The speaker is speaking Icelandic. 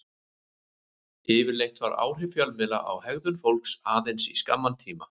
Yfirleitt vara áhrif fjölmiðla á hegðun fólks aðeins í skamman tíma.